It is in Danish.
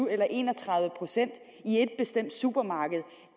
eller en og tredive procent i et bestemt supermarked